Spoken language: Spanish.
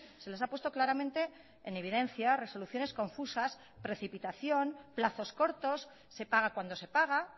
se les ha puesto claramente en evidencia resoluciones confusas precipitación plazos cortos se paga cuando se paga